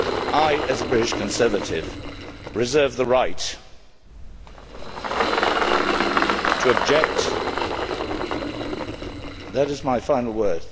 I, as a British Conservative, reserve the right to object that is my final word.